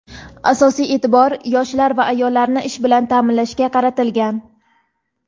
Asosiy e’tibor — yoshlar va ayollarni ish bilan ta’minlashga qaratilgan.